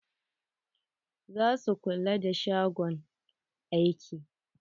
Za su kula da shagon aikin.